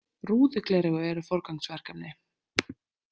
Rúðugleraugu eru forgangsverkefni.